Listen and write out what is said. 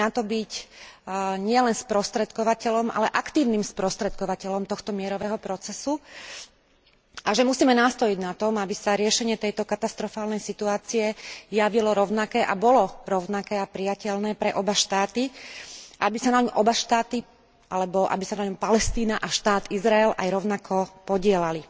Máme na to byť nielen sprostredkovateľom, ale aktívnym sprostredkovateľom tohto mierového procesu, a že musíme nástojiť na tom, aby sa riešenie tejto katastrofálnej situácie javilo rovnaké a bolo rovnaké a prijateľné pre oba štáty, aby sa na ňom oba štáty, alebo aby sa na ňom Palestína aj štát Izrael aj rovnako podieľali.